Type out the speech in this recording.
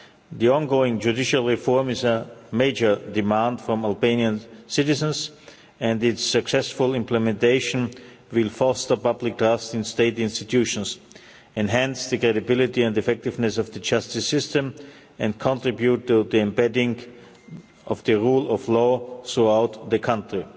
The ongoing judicial reform is a major demand from Albanian citizens and its successful implementation will foster public trust in state institutions, enhance the credibility and effectiveness of the justice system, and contribute to the embedding of the rule of law throughout the country.